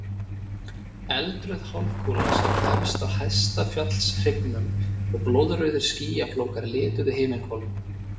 Eldrauð hálfkúla sat efst á hæsta fjallshryggnum og blóðrauðir skýjaflókar lituðu himinhvolfið.